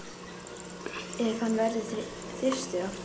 Ef hann verður þyrstur aftur.